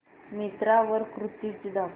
मिंत्रा वर कुर्तीझ दाखव